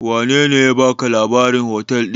Wanene ya baka labarin hotel ɗin?